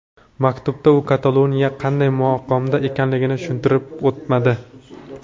Maktubda u Kataloniya qanday maqomda ekanligini tushuntirib o‘tmadi.